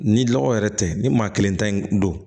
Ni lɔgɔ yɛrɛ tɛ ni maa kelen ta in don